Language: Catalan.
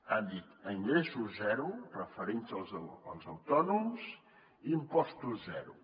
han dit a ingressos zero referint se als autònoms impostos zero